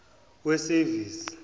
wesevisi